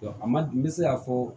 a man n bɛ se k'a fɔ